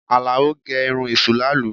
Alao gẹ irun èṣù làálu